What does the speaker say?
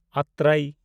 ᱟᱛᱨᱮᱭ